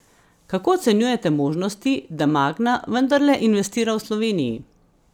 Kako ocenjujete možnosti, da Magna vendarle investira v Sloveniji?